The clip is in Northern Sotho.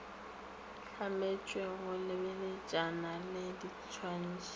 hlametšwe go lebeletšana le ditwatši